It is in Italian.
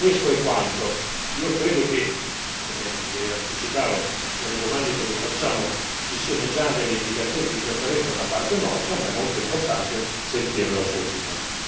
Questo è quanto, io credo che come le anticipavo nelle domande che le facciamo ci siano già delle indicazioni di preferenza da parte nostra, ma è molto importante sentire la sua opinione.